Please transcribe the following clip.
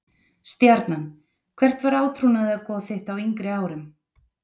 Stjarnan Hvert var átrúnaðargoð þitt á yngri árum?